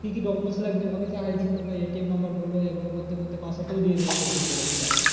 কি কি document লাগবে ওকে চাওয়া হয়েছে এবার ATM বলো এ বলো করতে করতে password টাও দিয়ে দিয়েছে ভুল করে বুঝলে।